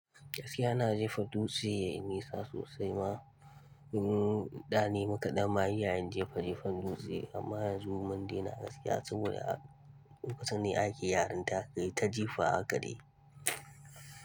Gaskiya ina jefa dutse, yayi nisa sosai ma, da ne muka ɗan ma yi yayin jefa-jefan dutse, amma yanzu mundena gaskiya saboda lokacin ne ake yarinta kai ta jefa hakade.